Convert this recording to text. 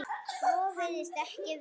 Svo virðist ekki vera.